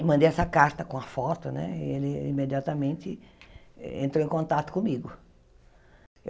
E mandei essa carta com a foto né e ele imediatamente entrou em contato comigo.